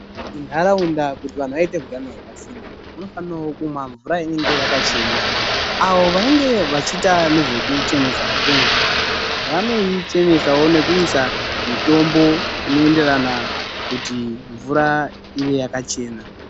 Muntaraunda kuti vantu vaite utano hwakasimba, vanofanira kunwa mvura inenge yakachena. Avo vanenge vachiita nezvekuchenesa kwemvura, vanoichenesawo nekuiisa mitombo inoenderana kuti mvura ive yakachena.